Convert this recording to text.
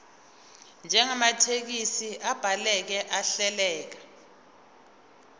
njengamathekisthi abhaleke ahleleka